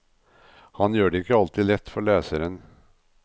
Han gjør det ikke alltid lett for leseren.